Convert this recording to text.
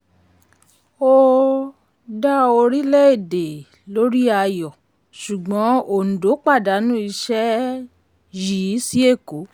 ó um dá orílẹ̀-èdè lórí ayọ̀ ṣùgbọ́n òǹdó pàdánù iṣẹ́ yìí sí èkó.